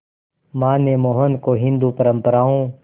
मां ने मोहन को हिंदू परंपराओं